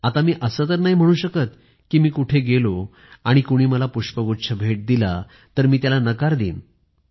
आता मी असं तर नाही म्हणू शकत कि मी कुठे गेलो आणि कुणी मला पुष्पगुच्छ भेट दिला तर मी त्याला नकार देईन